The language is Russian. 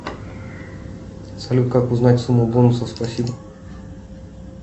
салют как узнать сумму бонусов спасибо